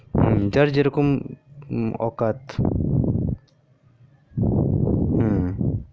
হু যার যেরকম অকাত হু